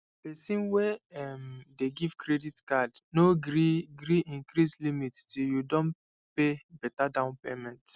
person wey um dey give credit card no gree gree increase limit till you don pay beta down payment